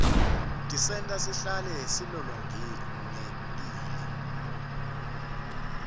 tisenta sihlale silolongekile